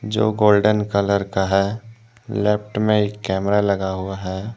जो golden colour का है लेफ्ट में एक कैमरा लगा हुआ है।